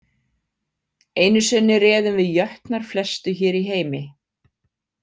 Einu sinni réðum við jötnar flestu hér í heimi.